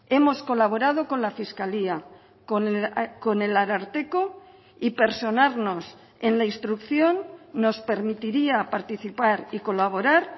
hemos colaborado con la fiscalía con el ararteko y personarnos en la instrucción nos permitiría participar y colaborar